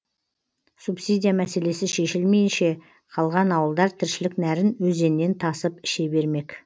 субсидия мәселесі шешілмейінше қалған ауылдар тіршілік нәрін өзеннен тасып іше бермек